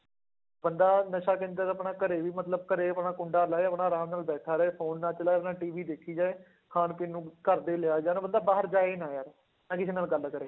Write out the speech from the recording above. ਬੰਦਾ ਨਸ਼ਾ ਕੇਂਦਰ ਤਾਂ ਆਪਣਾ ਘਰੇ ਵੀ ਮਤਲਬ ਘਰੇ ਆਪਣਾ ਕੁੰਡਾ ਲਾਏ ਆਪਣਾ ਆਰਾਮ ਨਾਲ ਬੈਠਾ ਰਹੇ phone ਨਾ ਚਲਾਏ ਆਪਣਾ TV ਦੇਖੀ ਜਾਏ, ਖਾਣ ਪੀਣ ਨੂੰ ਘਰਦੇ ਹੀ ਲਿਆਈ ਜਾਣ ਬੰਦਾ ਬਾਹਰ ਜਾਏ ਹੀ ਨਾ ਯਾਰ, ਨਾ ਕਿਸੇ ਨਾਲ ਗੱਲ ਕਰੇ।